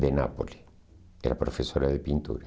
de Nápoles, era professora de pintura.